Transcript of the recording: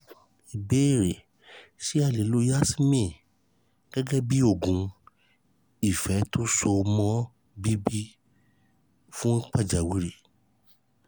ìbéèrè ṣé a lè lo yasmin gẹ́gẹ́ bí oògùn ifetosomo bibi fun pajawiri?